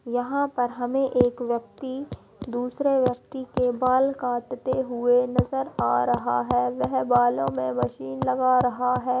यहाँ पर हमें एक व्यक्ति दूसरे व्यक्ति के बाल काटते हुए नजर आ रहा है। वह बालों मे मशीन लगा रहा है।